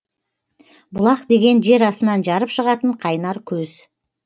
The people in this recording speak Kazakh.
бұлақ деген жер астынан жарып шығатын қайнар көз